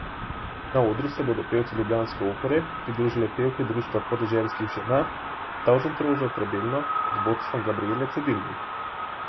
Na odru se bodo pevcu ljubljanske opere pridružile pevke Društva podeželskih žena Tavžentroža Trebelno pod vodstvom Gabrijele Cedilnik.